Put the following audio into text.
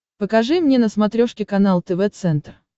покажи мне на смотрешке канал тв центр